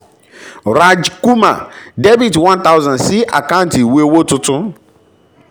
raj kumar dr one thousand sí àkáǹtì ìwé owó tuntun